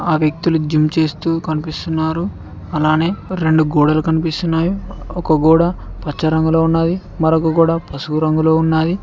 ఆ వ్యక్తులు జిమ్ చేస్తూ కనిపిస్తున్నారు అలానే రెండు గోడలు కనిపిస్తున్నవి ఒక గోడ పచ్చ రంగులో ఉన్నవి మరొక గోడ పసుపు రంగులో ఉన్నాయి.